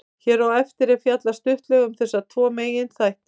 Hér á eftir er fjallað stuttlega um þessa tvo meginþætti.